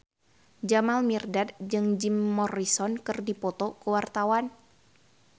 Jamal Mirdad jeung Jim Morrison keur dipoto ku wartawan